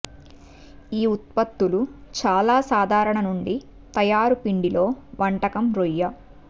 ఈ ఉత్పత్తులు చాలా సాధారణ నుండి తయారు పిండి లో వంటకం రొయ్య